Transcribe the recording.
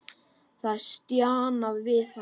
Það er stjanað við hana.